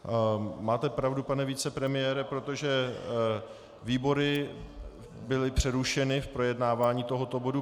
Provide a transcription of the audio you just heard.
Máte pravdu, pane vicepremiére, protože výbory byly přerušeny v projednávání tohoto bodu.